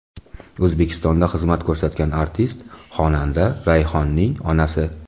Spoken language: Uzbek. O‘zbekistonda xizmat ko‘rsatgan artist, xonanda Rayhonning onasi.